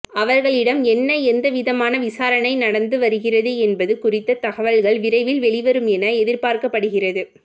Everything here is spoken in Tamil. அவர்களிடம் என்ன எந்தவிதமான விசாரணை நடந்து வருகிறது என்பது குறித்த தகவல்கள் விரைவில் வெளிவரும் என எதிர்பார்க்கப்படுகிறது